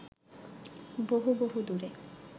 বহু বহু দূরে